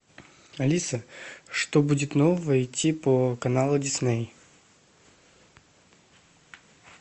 алиса что будет нового идти по каналу дисней